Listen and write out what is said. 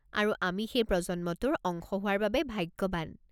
আৰু আমি সেই প্ৰজন্মটোৰ অংশ হোৱাৰ বাবে ভাগ্যবান।